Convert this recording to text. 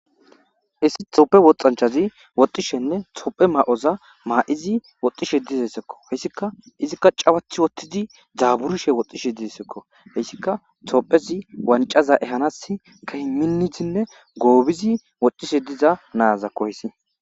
issi toppe woxxanchazi woxxishenne tophe ma7oza maa7izi woxxishe dizessekko hessika izikka cawathi wottidi dzaaburishe woxxishe dizesekko hessika tophezi wancaza ehanas kehi minnizinne goobizi woxxishe diza naazakko hessi